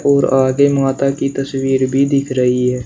और आगे माता की तस्वीर भी दिख रही है।